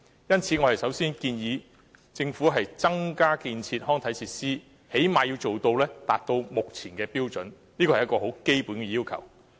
因此，我們首先建議政府增建康體設施，最低限度要達到《規劃標準》的水平，這是基本要求。